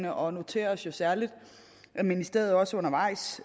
og noterer os jo særlig at ministeriet også undervejs